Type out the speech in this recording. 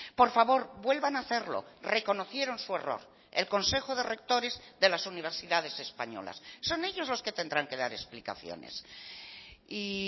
por favor vuelvan a hacerlo reconocieron su error el consejo de rectores de las universidades españolas son ellos los que tendrán que dar explicaciones y